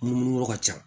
Munumunu yɔrɔ ka ca